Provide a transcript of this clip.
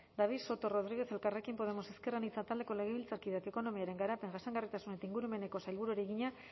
david soto rodríguez elkarrekin podemos ezker anitza taldeko legebiltzarkideak ekonomiaren garapen jasangarritasun eta ingurumeneko sailburuari egina